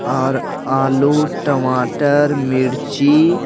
और आलू टमाटर मिर्ची--